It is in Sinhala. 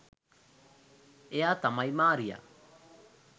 එයා තමයි මාරියා.